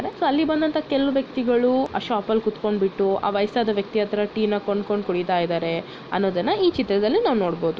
so ಅಲ್ಲಿ ಬಂದಂತಹ ಸ್ವಲ್ಪ ವ್ಯಕ್ತಿಗಳು ಆ ಶಾಪ್ ಅಲ್ ಕೂತ್ಕೊಂಡ್ಬಿಟ್ಟು ಆ ವಯಸ್ಸಾದ ವ್ಯಕ್ತಿ ಅತ್ರ ಟೀ ನ ಕೊಂಡ್ಕೊಂಡ್ ಕುಡ್ತಾಯಿದರೆ ಅನೋದನ ಈ ಚಿತ್ರದಲ್ಲಿ ನಾವಿನೋ--